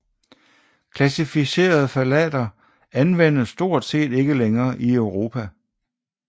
Klassificerede ftalater anvendes stort set ikke længere i Europa